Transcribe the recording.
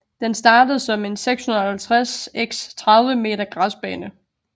Den startede som en 650x30 meter græsbane